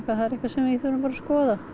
það er eitthvað sem við þurfum bara að skoða